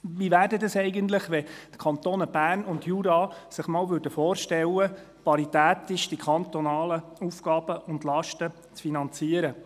Wie wäre es eigentlich, wenn die Kantone Bern und Jura sich vorstellten, die kantonalen Aufgaben und Lasten paritätisch zu finanzieren?